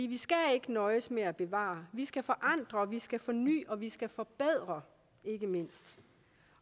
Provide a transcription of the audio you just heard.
vi skal ikke nøjes med at bevare vi skal forandre vi skal forny og vi skal forbedre